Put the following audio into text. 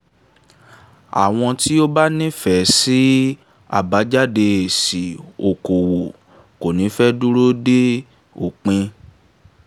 àwọn tí ó bá nífẹ̀ẹ́ sí àbájáde èsì okò-òwò kò ní fẹ́ dúró de òpin.